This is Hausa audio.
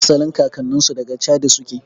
Asalin kakannninsu daga chadi suke